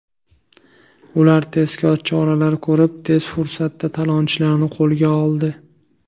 Ular tezkor choralar ko‘rib, tez fursatda talonchilarni qo‘lga oldi.